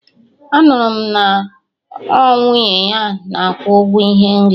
Anụrụ m na ọ nwunye ya na akwụ ụgwọ ihe nri